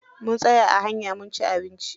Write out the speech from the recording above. Mun tsaya a hanya munci abinci.